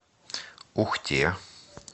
ухте